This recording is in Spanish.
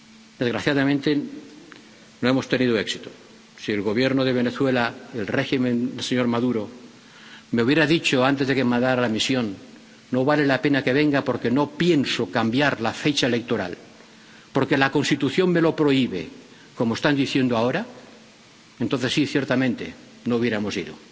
Desgraciadamente, no hemos tenido éxito, si el Gobierno de Venezuela, el régimen del señor Maduro, me hubiera dicho, antes de que mandara la misión, no vale la pena que venga porque no pienso cambiar la fecha electoral, porque la Constitución me lo prohíbe, como están diciendo ahora, entonces sí, ciertamente, no hubiéramos